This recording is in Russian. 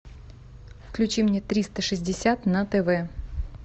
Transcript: включи мне триста шестьдесят на тв